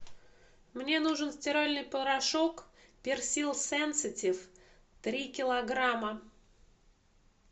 мне нужен стиральный порошок персил сенситив три килограмма